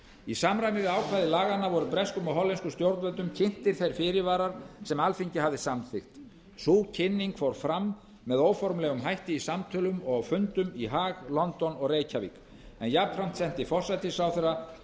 í samræmi við ákvæði laganna var breskum og hollenskum stjórnvöldum kynntir þeir fyrirvarar sem alþingi hafði samþykki sú kynning fór fram með óformlegum hætti í samtölum og á fundum í haag london og reykjavík en jafnframt sendi forsætisráðherra